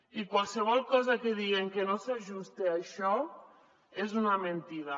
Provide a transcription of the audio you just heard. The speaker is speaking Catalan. i qualsevol cosa que diguen que no s’ajuste a això és una mentida